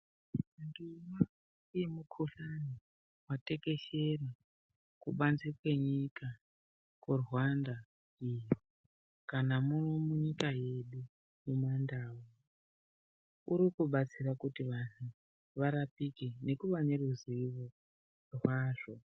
Mitombo yemikhuhlani yatekeshera kubanze kwenyika kuRwanda kana muno munyika yedu yemandau urikubatsira kuti vantu varapike nekuva neruzivo rwazvo.